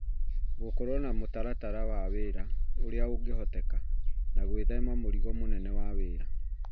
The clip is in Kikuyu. Gũkorwo na mũtaratara wa wĩra ũrĩa ũngĩhoteka na gwĩthema mũrigo mũnene wa wĩra